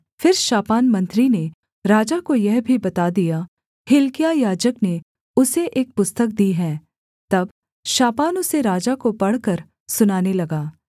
फिर शापान मंत्री ने राजा को यह भी बता दिया हिल्किय्याह याजक ने उसे एक पुस्तक दी है तब शापान उसे राजा को पढ़कर सुनाने लगा